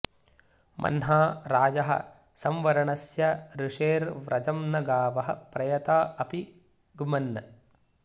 म॒ह्ना रा॒यः सं॒वर॑णस्य॒ ऋषे॑र्व्र॒जं न गावः॒ प्रय॑ता॒ अपि॑ ग्मन्